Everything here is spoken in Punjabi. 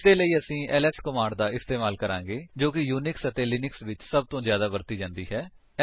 ਇਸਦੇ ਲਈ ਅਸੀ ਐਲਐਸ ਕਮਾਂਡ ਦਾ ਇਸਤੇਮਾਲ ਕਰਾਂਗੇ ਜੋ ਕਿ ਯੂਨਿਕਸ ਅਤੇ ਲਿਨਕਸ ਵਿੱਚ ਸਭ ਤੋਂ ਜਿਆਦਾ ਵਰਤੀ ਜਾਂਦੀ ਹੈ